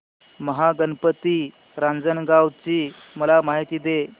महागणपती रांजणगाव ची मला माहिती दे